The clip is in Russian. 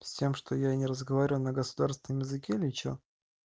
с тем что я не разговариваю на государственном языке или что